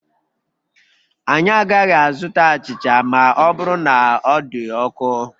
Anyị agaghị azụta achịcha ma ọ bụrụ na ọ dị ọkụ